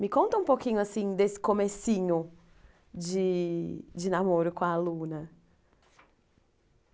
Me conta um pouquinho assim desse comecinho de de namoro com aluna.